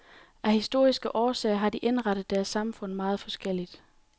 Af historiske årsager har de indrettet deres samfund meget forskelligt.